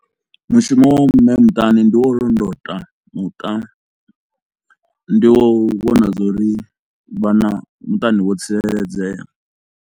Mushumo wa mme muṱani ndi wa u londota muṱa, ndi wa u vhona zwa uri vhana muṱani vho tsireledzea.